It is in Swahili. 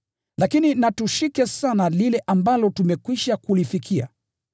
Lakini na tushike sana lile ambalo tumekwisha kulifikia.